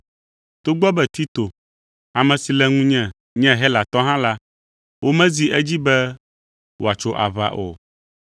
Togbɔ be Tito, ame si le ŋunye nye Helatɔ hã la, womezi edzi be wòatso aʋa o.